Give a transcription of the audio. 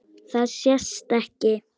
Það sést ekki.